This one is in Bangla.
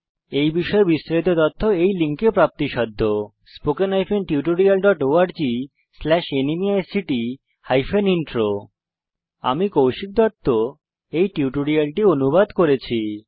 এই বিষয় বিস্তারিত তথ্য এই লিঙ্কে প্রাপ্তিসাধ্য spoken hyphen tutorial dot org slash ন্মেইক্ট হাইপেন ইন্ট্রো আমি কৌশিক দত্ত এই টিউটোরিয়ালটি অনুবাদ করেছি